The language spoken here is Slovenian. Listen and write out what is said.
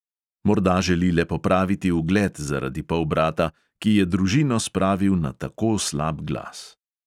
Morda želi le popraviti ugled zaradi polbrata, ki je družino spravil na tako slab glas.